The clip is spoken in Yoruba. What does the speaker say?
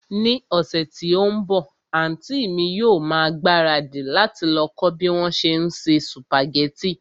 Ní ọ̀sẹ̀ tí ó ń bọ̀, àntí mi yóò ma ìgbáradì láti lọ kọ́ bí wón se ń se sùpàgẹ́tì